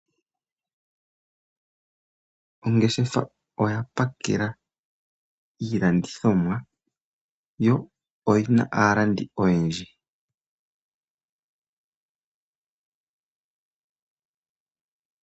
Ongeshefa oya pakela iilandithomwa yo oyi na aalandi oyendji.